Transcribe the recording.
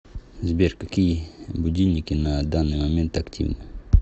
сбер какие будильники на данный момент активны